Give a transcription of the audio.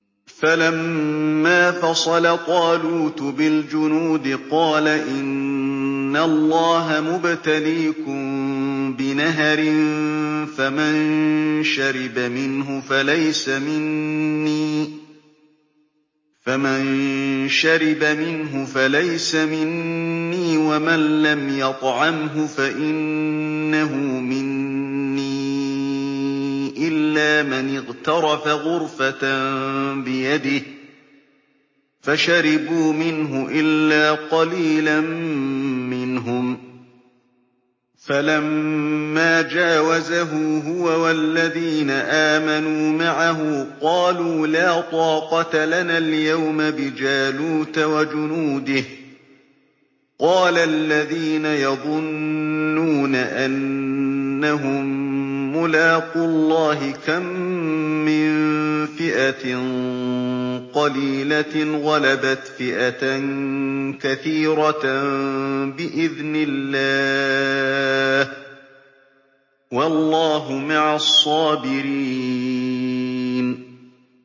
فَلَمَّا فَصَلَ طَالُوتُ بِالْجُنُودِ قَالَ إِنَّ اللَّهَ مُبْتَلِيكُم بِنَهَرٍ فَمَن شَرِبَ مِنْهُ فَلَيْسَ مِنِّي وَمَن لَّمْ يَطْعَمْهُ فَإِنَّهُ مِنِّي إِلَّا مَنِ اغْتَرَفَ غُرْفَةً بِيَدِهِ ۚ فَشَرِبُوا مِنْهُ إِلَّا قَلِيلًا مِّنْهُمْ ۚ فَلَمَّا جَاوَزَهُ هُوَ وَالَّذِينَ آمَنُوا مَعَهُ قَالُوا لَا طَاقَةَ لَنَا الْيَوْمَ بِجَالُوتَ وَجُنُودِهِ ۚ قَالَ الَّذِينَ يَظُنُّونَ أَنَّهُم مُّلَاقُو اللَّهِ كَم مِّن فِئَةٍ قَلِيلَةٍ غَلَبَتْ فِئَةً كَثِيرَةً بِإِذْنِ اللَّهِ ۗ وَاللَّهُ مَعَ الصَّابِرِينَ